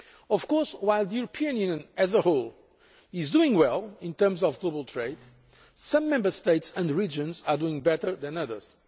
Of course, while the European Union as a whole is doing well in terms of global trade, some Member States and regions are doing better than others.